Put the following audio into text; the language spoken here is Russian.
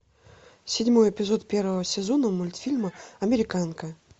седьмой эпизод первого сезона мультфильма американка